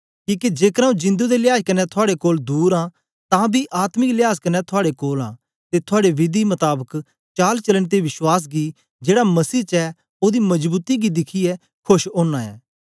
किके जेकर आऊँ जिंदु दे लियाज कन्ने थुआड़े कोलां दूर आं तां बी आत्मिक लियाज कन्ने थुआड़े कोल आं ते थुआड़े विधि मताबक चालचलन ते विश्वास गी जेड़ा मसीह च ऐ ओदी मजबूती गी दिखियै खोश ओंना ऐं